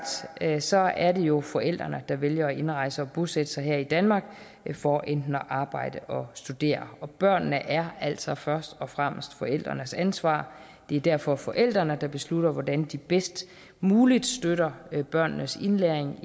er sagt er det jo forældrene der vælger at indrejse og bosætte sig her i danmark for enten at arbejde eller studere og børnene er altså først og fremmest forældrenes ansvar det er derfor forældrene der beslutter hvordan de bedst muligt støtter børnenes indlæring